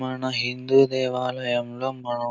మన హిందీ దేవాలయంలో మనము --